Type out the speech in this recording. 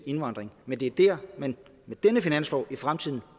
indvandring men det er der man med denne finanslov i fremtiden